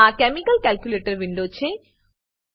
આ chemical calculator window છે